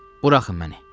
Buraxın məni.